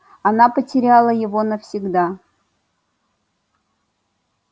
она потеряла его навсегда